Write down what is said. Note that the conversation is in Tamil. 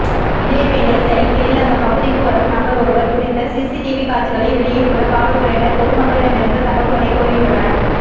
இதேவேளை சைக்கிளில் அந்த பகுதிக்கு வரும் நபர் ஒருவர் குறித்த சிசிடிவி காட்சிகளை வெளியிட்டுள்ள காவல்துறையினர் பொதுமக்களிடமிருந்து தகவல்களை கோரியுள்ளனர்